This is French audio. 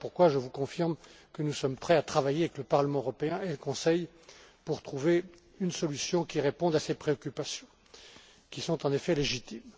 voilà pourquoi je vous confirme que nous sommes prêts à travailler avec le Parlement européen et le Conseil pour trouver une solution qui réponde à ces préoccupations qui sont en effet légitimes.